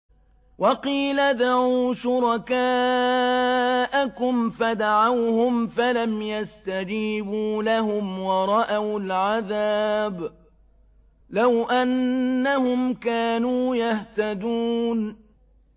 وَقِيلَ ادْعُوا شُرَكَاءَكُمْ فَدَعَوْهُمْ فَلَمْ يَسْتَجِيبُوا لَهُمْ وَرَأَوُا الْعَذَابَ ۚ لَوْ أَنَّهُمْ كَانُوا يَهْتَدُونَ